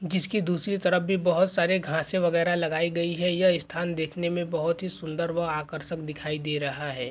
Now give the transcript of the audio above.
जिसकी दूसरी तरफ भी बहोत सारी घांसे वगैरा लगाई गई है। यह स्थान देखने में बहोत ही सुंदर व आकर्षक दिखाई दे रहा है।